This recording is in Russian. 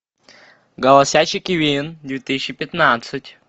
голосящий кивин две тысячи пятнадцать